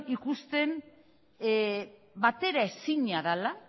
ikusten batera ezina dela